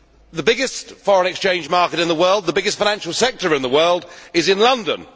The biggest foreign exchange market in the world the biggest financial sector in the world is in London.